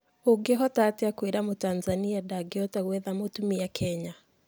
Ũngĩhotaatia kũira mũtanzania ndangĩhota gũetha mũtumia kenya?